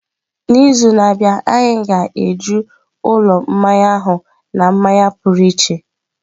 N'izu na-abịa, anyị ga-eju ụlọ mmanya ahụ na mmanya pụrụ iche.